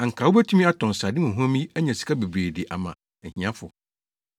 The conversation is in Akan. Anka wobetumi atɔn srade huamhuam yi anya sika bebree de ama ahiafo.”